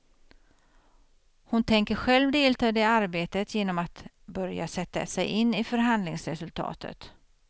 Hon tänker själv delta i det arbetet genom att börja sätta sig in i förhandlingsresultatet.